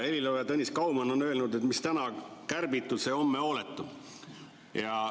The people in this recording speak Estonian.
Helilooja Tõnis Kaumann on öelnud, et mis täna kärbitud, see homme hooletu.